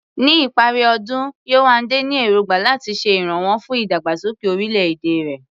Ní ìparí ọdún, Yewande ní èrògbà láti ṣe ìrànwọ́ fún ìdàgbàsókè orílẹ̀-èdè rẹ̀.